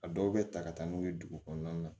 A dɔw bɛ ta ka taa n'u ye dugu kɔnɔna na